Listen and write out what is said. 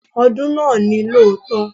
Ọdún náà ni lóòótọ́.